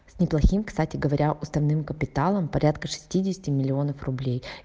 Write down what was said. с неплохим кстати говоря уставным капиталом порядка шестидесяти миллионов рублей